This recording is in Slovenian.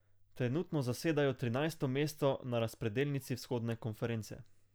Trenutno zasedajo trinajsto mesto na razpredelnici vzhodne konference.